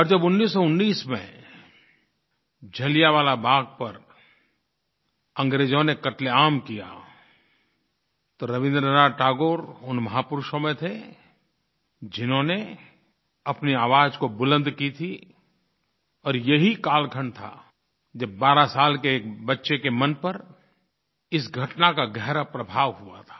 और जब 1919 में जलियांवाला बाग़ पर अंग्रेज़ों ने क़त्लेआम किया तो रवीन्द्रनाथ टैगोर उन महापुरुषों में थे जिन्होंने अपनी आवाज़ बुलंद की थी और यही कालखंड था जब 12 साल के एक बच्चे के मन पर इस घटना का गहरा प्रभाव हुआ था